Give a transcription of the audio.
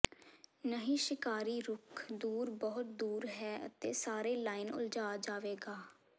ਨਹੀ ਸ਼ਿਕਾਰੀ ਰੁਖ਼ ਦੂਰ ਬਹੁਤ ਦੂਰ ਹੈ ਅਤੇ ਸਾਰੇ ਲਾਈਨ ਉਲਝਾ ਜਾਵੇਗਾ